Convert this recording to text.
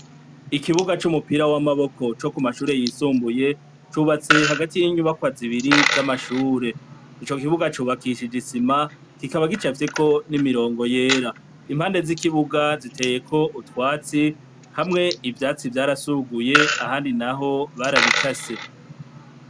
Ikibuga c'umupira w'amaboko cokumashure yisumbuye cubatse hagati yinyubakwa zibiri z'Amashure icokibuga cubakishijwe isima, kikaba gicafyeko n'imirongo yera. Impande z'ikibuga ziteyeko utwatsi hamwe ivyaytsi vyarasugiye ahandi barabikase.